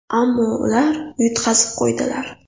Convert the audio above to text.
Ammo ular yutqazib qo‘ydilar.